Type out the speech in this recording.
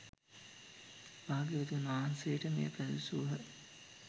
භාග්‍යවතුන් වහන්සේට මෙය පැවසූහ